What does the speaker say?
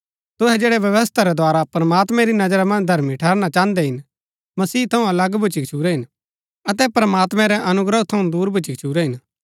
तुहै जैड़ै व्यवस्था रै द्धारा प्रमात्मैं री नजरा मन्ज धर्मी ठहरना चाहन्दै हिन मसीह थऊँ अलग भूच्ची गच्छुरै हिन अतै प्रमात्मैं रै अनुग्रह थऊँ दूर भुच्‍ची गच्छुरै हिन